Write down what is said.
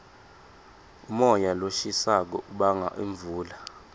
umoya loshisako ubanga imvula